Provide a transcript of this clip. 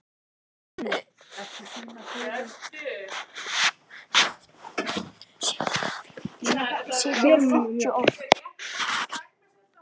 Djúpavogi